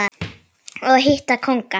og hitta kónga.